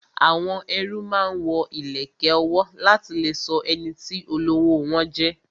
Àwọn ẹrú máa ń wo ìlẹ̀kẹ̀ ọwọ́ láti lè sọ ẹniti olówó wọn jẹ